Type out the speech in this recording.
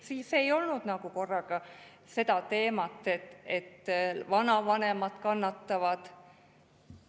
Siis ei olnud nagu korraga seda teemat, et vanavanemad kannatavad.